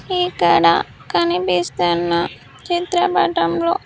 ఇక్కడ కనిపిస్తున్న చిత్రపటంలో.